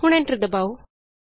ਹੁਣ ਐਂਟਰ ਦਬਾਉ